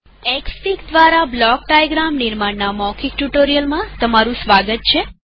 Xfig દ્વારા block diagram નિર્માણ ના મૌખિક ટ્યુ્ટોરીઅલમાં સ્વાગત છે